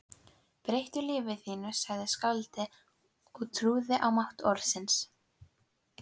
Breyttu lífi þínu sagði skáldið og trúði á mátt orðsins